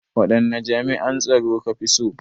Waɗanne jami'an tsaro ka fi so?